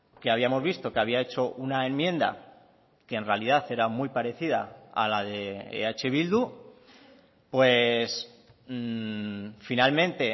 que habíamos visto que había hecho una enmienda que en realidad era muy parecida a la de eh bildu pues finalmente